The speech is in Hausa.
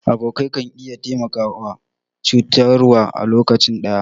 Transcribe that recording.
Abokai ka iya taimaka ko cutarwa a lokaci ɗaya.